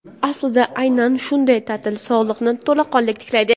aslida aynan shunday taʼtil sog‘liqni to‘laqonli tiklaydi.